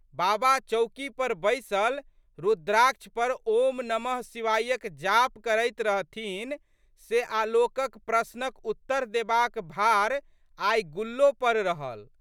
बाबा चौकी पर बैसल रूद्राक्ष पर ओम् नमः शिवायक जाप करैत रहथिन से आलोकक प्रश्नक उत्तर देबाक भार आइ गुल्लो पर रहल।